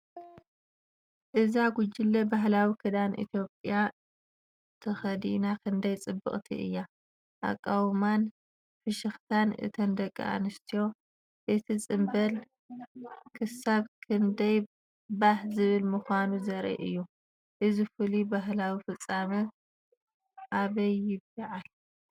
እዛ ጉጅለ፡ ባህላዊ ክዳን ኢትዮጵያ ተኸዲና ክንደይ ጽብቕቲ እያ! ኣቃውማን ፍሽኽታን እተን ደቂ ኣንስትዮ፡ እቲ ጽምብል ክሳብ ክንደይ ባህ ዘብል ምዃኑ ዘርኢ እዩ። እዚ ፍሉይ ባህላዊ ፍጻመ ኣበይ ይበዓል?